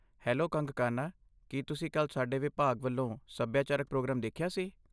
Hello Kangkana! ਕੀ ਤੁਸੀਂ ਕੱਲ੍ਹ ਸਾਡੇ ਵਿਭਾਗ ਵੱਲੋਂ ਸੱਭਿਆਚਾਰਕ ਪ੍ਰੋਗਰਾਮ ਦੇਖਿਆ ਸੀ?